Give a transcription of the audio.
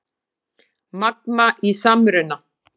Magma í samruna